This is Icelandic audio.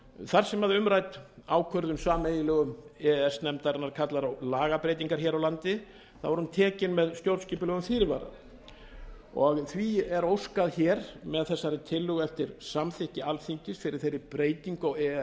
þar sem umrædd ákvörðun sameiginlegu e e s nefndarinnar kallar á lagabreytingar hér á landi þá er hún tekin með stjórnskipulegum fyrirvara og því er óskað með þessari tillögu eftir samþykki alþingis fyrir þeirri breytingu á e e s